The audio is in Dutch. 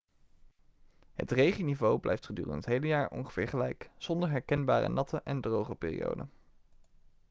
het regenniveau blijft gedurende het hele jaar ongeveer gelijk zonder herkenbare natte' en droge' perioden